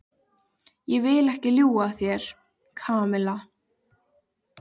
Ég vil ekki ljúga að þér, Kamilla.